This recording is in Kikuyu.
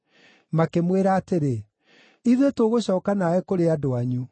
makĩmwĩra atĩrĩ, “Ithuĩ tũgũcooka nawe kũrĩ andũ anyu.”